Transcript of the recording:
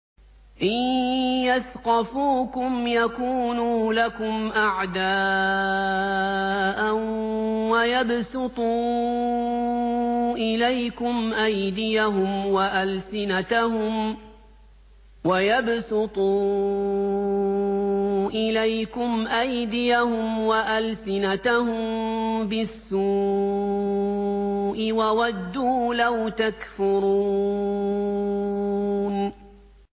إِن يَثْقَفُوكُمْ يَكُونُوا لَكُمْ أَعْدَاءً وَيَبْسُطُوا إِلَيْكُمْ أَيْدِيَهُمْ وَأَلْسِنَتَهُم بِالسُّوءِ وَوَدُّوا لَوْ تَكْفُرُونَ